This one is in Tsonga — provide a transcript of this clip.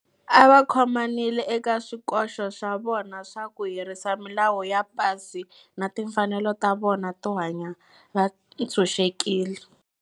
A va khomanile eka swikoxo swa vona swa ku herisa milawu ya pasi na timfanelo ta vona to hanya va ntshuxekile.